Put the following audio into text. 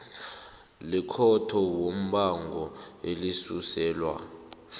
lekhotho yombango elisuselwa